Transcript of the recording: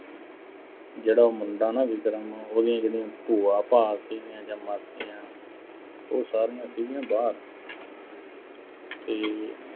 ਜਿਹੜਾ ਮੁੰਡਾ ਨਾ ਅਹ ਵਿਕਰਮ ਉਹਦੀਆਂ ਜਿਹੜੀਆਂ ਭੂਆ-ਭਾਆਂ ਸੀਗੀਆਂ ਜਾਂ ਮਾਸੀਆਂ, ਉਹ ਸਾਰੀਆਂ ਸੀਗੀਆਂ ਬਾਹਰ ਤੇ